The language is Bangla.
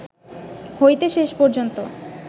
হইতে শেষ পর্যন্ত